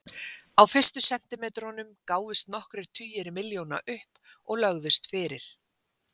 Á fyrstu sentimetrunum gáfust nokkrir tugir milljóna upp og lögðust fyrir.